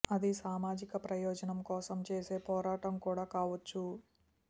అది సామాజిక ప్రయోజనం కోసం చేసే పోరాటం కూడా కావొచ్చు